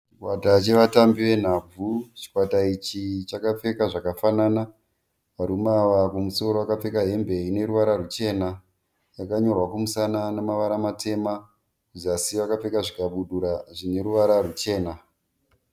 Chikwata chevatambi venhabvu. Chikwata ichi chakapfeka zvakafanana. Varume ava kumusoro vakapfeka hembe dzine ruvara ruchena yakanyorwa kumusana sana nemavara matema. Kuzasi vakapfeka zvikabudura zvine ruvara ruchena.